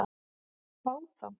Fá þá?